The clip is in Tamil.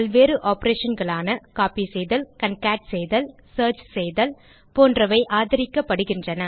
பல்வேறு operationகளான கோப்பி செய்தல் கான்கேட் செய்தல் சியர்ச் செய்தல் போன்றவை ஆதரிக்கப்படுகிறது